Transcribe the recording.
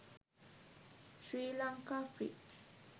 sri lanka free